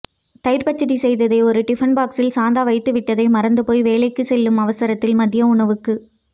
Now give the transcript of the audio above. தயிர்ப்பச்சிடி செய்ததை ஒரு டிஃபன் பாக்சில் சாந்தா வைத்துவிட்டதை மறந்து போய் வேலைக்கு செல்லும் அவசரத்தில் மதிய உணவுக்குப்